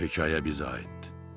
Bu hekayə bizə aid idi.